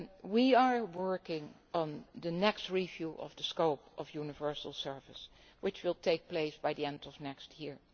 rules. We are working on the next review of the scope of universal service, which will take place at the end of